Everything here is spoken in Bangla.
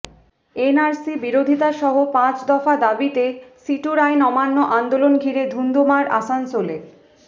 এনআরসি বিরোধিতা সহ পাঁচ দফা দাবিতে সিটুর আইন অমান্য আন্দোলন ঘিরে ধুন্ধুমার আসানসোলে